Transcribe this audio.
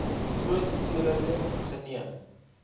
groot hoeveelhede geneem